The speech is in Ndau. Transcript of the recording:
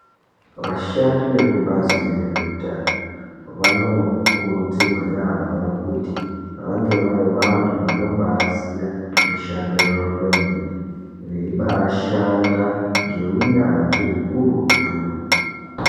Vasahandi vekubhazi rezvehutano, vanokurudzirwa yambo kuti vange varivantu vanobaziya mishando yavo kwemeni bashanda ngewunyanzvi wukurutu.